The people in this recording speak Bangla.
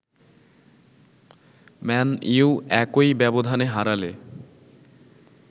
ম্যান ইউ একই ব্যবধানে হারালে